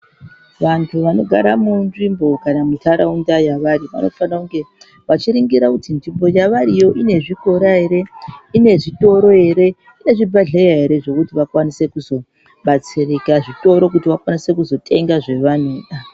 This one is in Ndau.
Vantu vanogara munzvimbo kana mundaraunda yavari vanofana unge vachiringira kuti nzvimbo yavariyo ine zvikora ere, ine zvitoro ere , ine zvibhedhleya ere zvekuti vakwanise kuzobatsirika , zvitoro kuti vakwanise kuzotenga zvavanoda .